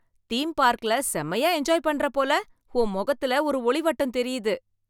theme பார்க்ல செம்மயா enjoy பண்ற போல, உன் முகத்துல ஒரு ஒளிவட்டம் தெரியுது